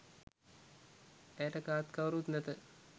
ඇයට කාත් කවුරුත් නැත